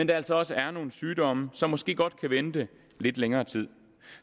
der altså også er nogle sygdomme som måske godt kan vente lidt længere tid